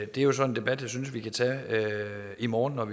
det er jo så en debat jeg synes vi kan tage i morgen når